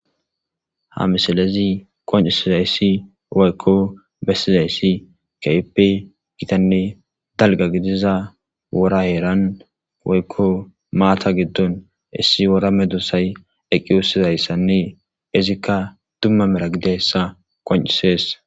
ha misalezi qoncisizayssi woykko bessizayssi keippe gitanne dalga gidiza wora yeeran waykko maata giddon issi wora medusay eqqi wussizayssanne izikka dumma mera gidessa qoncisees